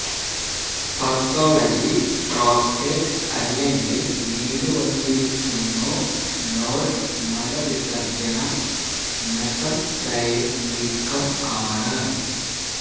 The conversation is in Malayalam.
പതോളജി പ്രോസ്റ്റേറ്റ് അല്ലെങ്കിൽ നീരുവന്നിരിക്കുന്നു നോഡ് മലവിസർജ്ജനം മെസെംതെര്യ് വീക്കം ആണ്